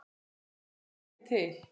Hver er ekki til?